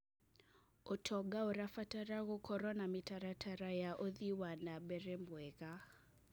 ũtonga ũrabatara gũkorwo na mĩtaratara ya ũthii wa na mbere mwega.